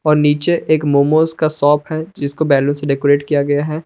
और नीचे एक मोमोज का शॉप है जिसको बैलून से डेकोरेट किया गया है।